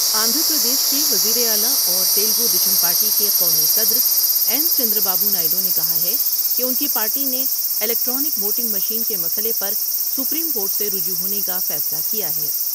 آندھرا پردیش کے وزیراعلی اور تیلگو دیشم پارٹی کے قومی صدر این چند را بابو نائیڈو نے کہا کہ ان کی پارٹی نے الیکٹرانک ووٹنگ مشین کے مسئلے پر سپریم کورٹ سے رجوع ہونے کا فیصلہ کیا ہے ۔